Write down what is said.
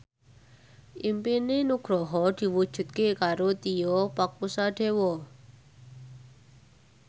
impine Nugroho diwujudke karo Tio Pakusadewo